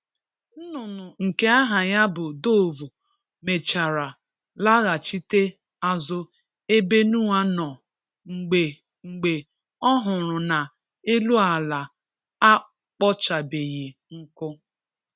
Nnụnụ nke aha ya bụ dovu mechara laghachite azụ ebe Noah nọ mgbe mgbe ọhụrụ na elu ala a kpọchabeghi nkụ.